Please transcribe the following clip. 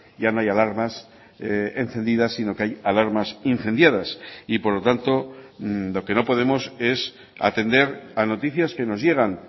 ya no hay alarmas encendidas sino que hay alarmas incendiadas y por lo tanto lo que no podemos es atender a noticias que nos llegan